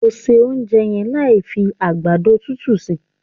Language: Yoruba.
O se ounjẹ yẹn láì fi àgbàdo dundun sí!